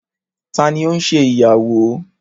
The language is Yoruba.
Tani o nse iyawo?